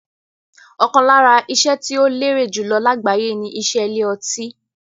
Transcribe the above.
Ọ̀kan lára iṣẹ́ tí ó lérè jùlọ lágbàyé ni iṣẹ́ ilé ọtí.